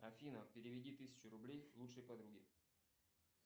афина переведи тысячу рублей лучшей подруге